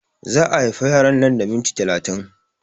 Za a haifa yaron nan da minti talatin